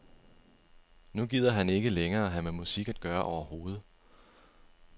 Nu gider han ikke længere have med musik at gøre overhovedet.